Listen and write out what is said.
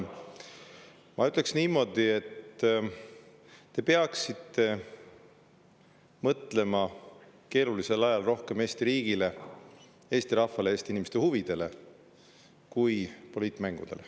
Ma ütleks niimoodi, et te peaksite keerulisel ajal rohkem mõtlema Eesti riigile, Eesti rahvale ja Eesti inimeste huvidele, mitte poliitmängudele.